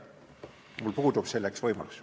Mul puudub selleks võimalus.